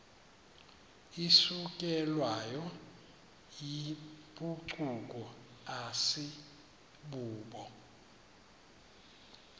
isukelwayo yimpucuko asibubo